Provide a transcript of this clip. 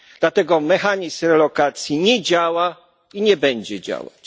Dlatego mechanizm relokacji nie działa i nie będzie działać.